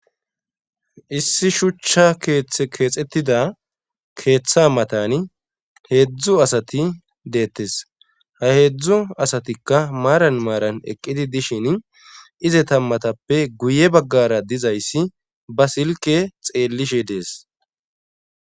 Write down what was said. issi shuchcha keththe keexettida keeththa matani heedzdzu asati deettes ha heedzdzu asatikka maaran maaran eqqidi dishin ize tammatappe guye baggara dizayssi ba silke xeellishe dees